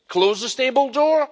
Close the stable door?